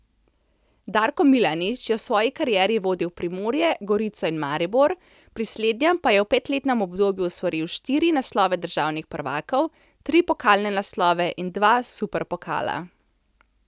Darko Milanič je v svoji karieri vodil Primorje, Gorico in Maribor, pri slednjem pa je v petletnem obdobju osvojil štiri naslove državnih prvakov, tri pokalne naslove in dva superpokala.